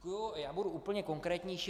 Já budu úplně konkrétnější.